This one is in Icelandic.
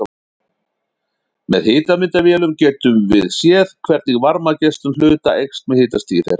Með hitamyndavélum getum við séð hvernig varmageislun hluta eykst með hitastigi þeirra.